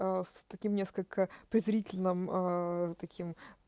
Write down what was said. аа с таким несколько презрительным аа таким